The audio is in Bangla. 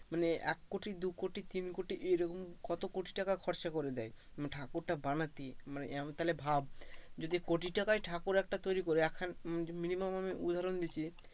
মানে এককোটি দুকোটি তিনকোটি এরকম কত কোটি টাকা খরচ করে দেয় মানে ঠাকুরটা বানাতে, মানে তাহলে ভাব যদি কোটি তাকাই ঠাকুর একটা তৈরী করে একখান, minimum আমি উদাহরণ দিচ্ছি,